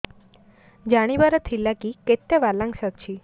ଜାଣିବାର ଥିଲା କି କେତେ ବାଲାନ୍ସ ଅଛି